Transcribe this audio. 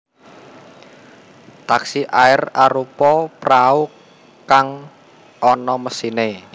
Taksi air arupa prau kang ana mesiné